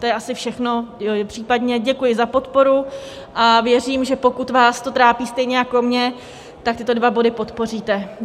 To je asi všechno, případně děkuji za podporu a věřím, že pokud vás to trápí stejně jako mě, tak tyto dva body podpoříte.